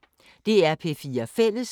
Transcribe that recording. DR P4 Fælles